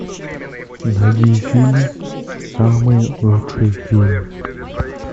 найди фильм самый лучший фильм